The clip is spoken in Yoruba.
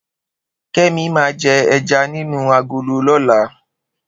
Kemi ma je ẹja nínú agolo lọ́la